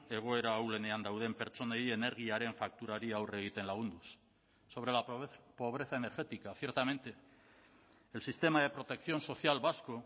egoera ahulenean dauden pertsonei energiaren fakturari aurre egiten lagunduz sobre la pobreza energética ciertamente el sistema de protección social vasco